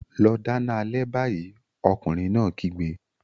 Lọ dáná alẹ́ báyìí! Ọkùnrin náà kígbe.